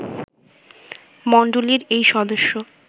মন্ডলীর এই সদস্য